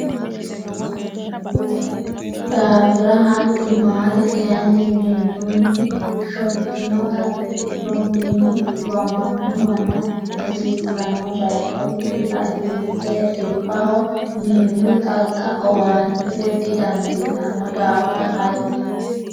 daafira hatti maate kayinni miinjunni shottinota ikkituro mini dhiwamanno manna hasiisanno baycho laisiisse dhibbaho nyaau xagga owaatate didandiitanno daafira hatti.